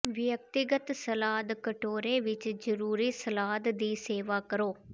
ਵਿਅਕਤੀਗਤ ਸਲਾਦ ਕਟੋਰੇ ਵਿੱਚ ਜਰੂਰੀ ਸਲਾਦ ਦੀ ਸੇਵਾ ਕਰੋ